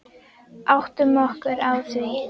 Áttum okkur á því.